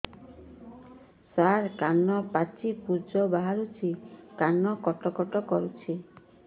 ସାର କାନ ପାଚି ପୂଜ ବାହାରୁଛି କାନ କଟ କଟ କରୁଛି